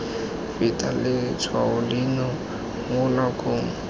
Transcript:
feta letshwao leno mo nakong